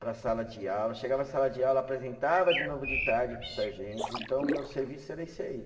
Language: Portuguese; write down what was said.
para a sala de aula, chegava na sala de aula, apresentava de novo de tarde para os sargentos, então meu serviço era esse aí.